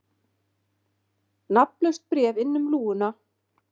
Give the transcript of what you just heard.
Nafnlaust bréf inn um lúguna